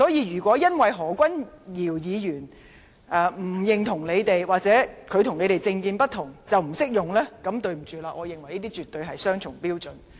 如果因為何君堯議員不認同你們或他的政見與你們不同便不適用的話，那麼對不起，我認為這絕對是雙重標準。